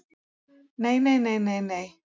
Nei nei nei nei.